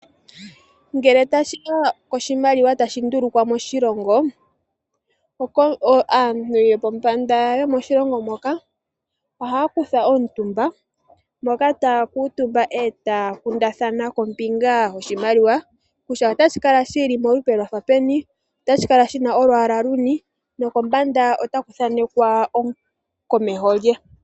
Ngele tashi ya koshimaliwa tashi ndulukwa moshilongo, aantu yo pombanda moshilongo moka ohaya kutha omutumba, moka taya kuutumba e taya kundathana kombinga yoshimaliwa kutya otashi kala shi li molupe lwafa peni, otashi kala shina olwaala luni, nokombanda otaku thanekwa omukomeho lye.